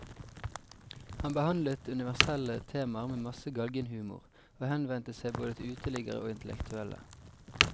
Han behandlet universelle temaer med masse galgenhumor, og henvendte seg både til uteliggere og intellektuelle.